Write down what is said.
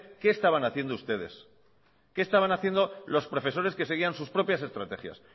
qué estaban haciendo ustedes qué estaban haciendo los profesores que seguían sus propias estrategias